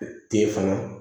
Ten fana